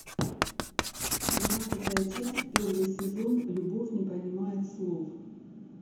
двенадцатая часть первый сезон любовь не понимает слов